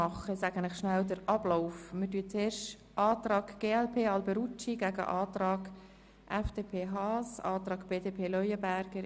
Als Erstes stelle ich den Antrag der glp demjenigen der FDP, BDP und EDU gegenüber.